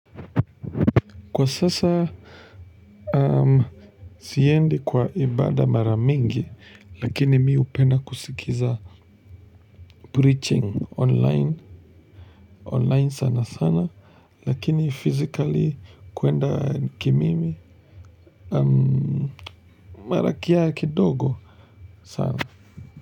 Kwa sasa, siendi kwa ibada mara mingi, lakini mi upenda kusikiza preaching online sana sana, lakini physically kuenda ki mimi, mara kia kidogo sana.